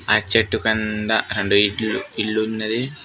ఆ చెట్టు కంద రెండు ఇల్లు ఉన్నది.